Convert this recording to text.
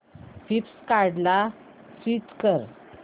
फ्लिपकार्टं ला स्विच कर